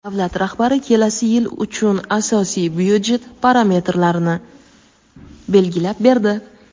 Davlat rahbari kelasi yil uchun asosiy byudjet parametlarini belgilab berdi.